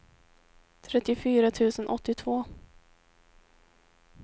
trettiofyra tusen åttiotvå